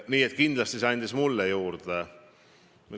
Nii et kindlasti see andis mulle palju juurde.